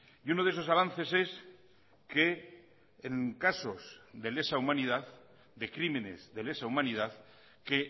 y uno de esos avances es que en casos de lesa humanidad de crímenes de lesa humanidad que